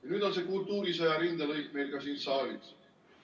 Ja nüüd on see kultuurisõja rindelõik meil ka siin saalis.